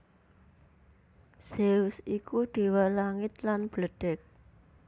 Zeus iku déwa langit lan bledhèg